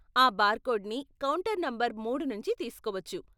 ఆ బార్కోడ్ని counter number మూడు నుంచి తీస్కోవచ్చు.